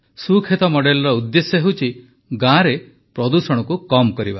ସୁକ୍ଷେତ ମଡେଲର ଉଦ୍ଦେଶ୍ୟ ହେଉଛି ଗାଁରେ ପ୍ରଦୂଷଣକୁ କମ୍ କରିବା